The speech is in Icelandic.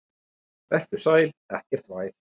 Vertu sæl, ekkert væl.